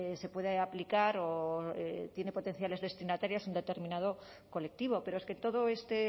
se puede aplicar o tiene potenciales destinatarios en un determinado colectivo pero es que todo este